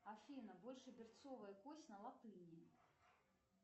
афина большеберцовая кость на латыни